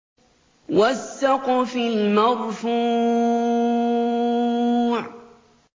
وَالسَّقْفِ الْمَرْفُوعِ